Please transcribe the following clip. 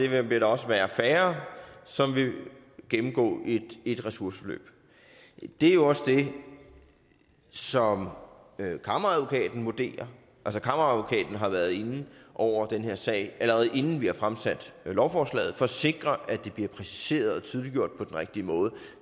vil der også være færre som vil gennemgå et ressourceforløb det er jo også det som kammeradvokaten vurderer altså kammeradvokaten har været inde over den her sag allerede inden vi har fremsat lovforslaget for at sikre at det bliver præciseret og tydeliggjort på den rigtige måde